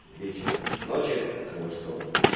вечера ночи у кого что